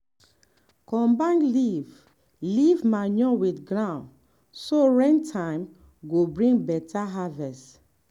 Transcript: combine leaf leaf manure with ground so rain time go bring beta harvest.